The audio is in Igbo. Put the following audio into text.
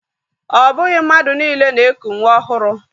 O bughi mmadu niile na-eku nwa ohuru.